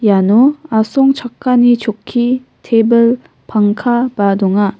iano asongchakani chokki tebil pangkaba donga.